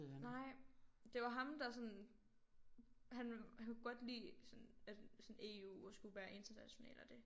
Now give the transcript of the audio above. Nej det var ham der sådan han han kunne godt lide sådan at sådan EU og skulle være international og det